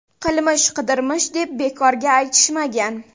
Qilmish qidirmish deb bekorga aytishmagan.